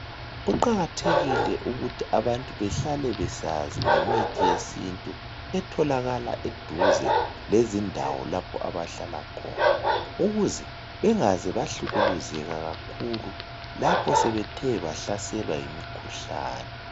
Kuqakathekile ukuthi abantu behlale besazi ngemithi yesintu etholakala eduze lezindawo lapho abahlala khona ukuze bengaze bahlukuluzeka kakhulu lapho sebethe bahlaselwa yimikhuhlane.